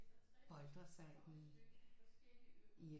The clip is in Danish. Boltre sig i i